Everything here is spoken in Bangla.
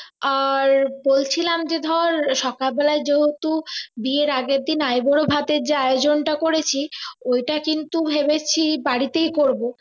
আর বলছিলাম যে ধর সকাল বেলায় যেহেতু বিয়ের আগের দিন আইবুড়ো ভাতের যে আয়োজনটা করেছি ওইটা কিন্তু ভেবেছি বাড়িতেই করবো